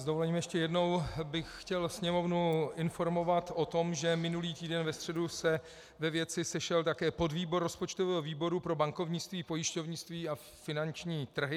S dovolením ještě jednou bych chtěl Sněmovnu informovat o tom, že minulý týden ve středu se ve věci sešel také podvýbor rozpočtového výboru pro bankovnictví, pojišťovnictví a finanční trhy.